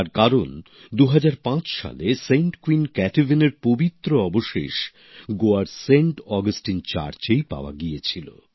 তার কারণ ২০০৫ সালে সেন্ট কুইন কাটেভানের পবিত্র অবশেষ গোয়ার সেন্ট অগাস্টিন চার্চেই পাওয়া গিয়েছিল